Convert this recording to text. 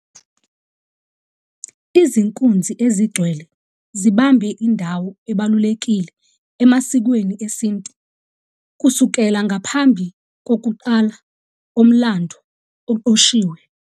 Izinkunzi ezingcwele zibambe indawo ebalulekile emasikweni esintu kusukela ngaphambi kokuqala komlando oqoshiwe.